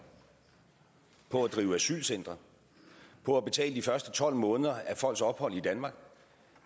på at drive asylcentre på at betale de første tolv måneder af folks ophold i danmark